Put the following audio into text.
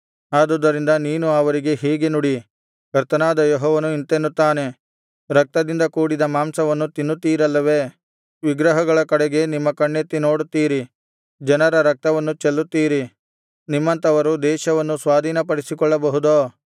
ಆದುದರಿಂದ ನೀನು ಅವರಿಗೆ ಹೀಗೆ ನುಡಿ ಕರ್ತನಾದ ಯೆಹೋವನು ಇಂತೆನ್ನುತ್ತಾನೆ ರಕ್ತದಿಂದ ಕೂಡಿದ ಮಾಂಸವನ್ನು ತಿನ್ನುತ್ತೀರಲ್ಲವೇ ವಿಗ್ರಹಗಳ ಕಡೆಗೆ ನಿಮ್ಮ ಕಣ್ಣೆತ್ತಿ ನೋಡುತ್ತೀರಿ ಜನರ ರಕ್ತವನ್ನು ಚೆಲ್ಲುತ್ತೀರಿ ನಿಮ್ಮಂಥವರು ದೇಶವನ್ನು ಸ್ವಾಧೀನಪಡಿಸಿಕೊಳ್ಳಬಹುದೋ